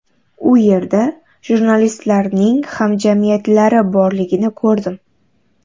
U yerda jurnalistlarning hamjamiyatlari borligini ko‘rdim.